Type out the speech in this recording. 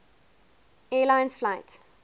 air lines flight